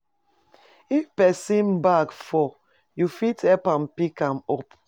If pesin bag fall, you fit help am pick am up.